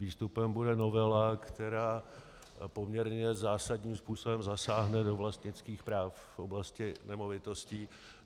Výstupem bude novela, která poměrně zásadním způsobem zasáhne do vlastnických práv v oblasti nemovitostí.